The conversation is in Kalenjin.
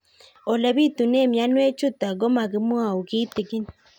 Ole pitune mionwek chutok ko kimwau kitig'ín